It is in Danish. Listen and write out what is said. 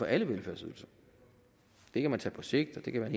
alle velfærdsydelser det kan man tage på sigt det kan være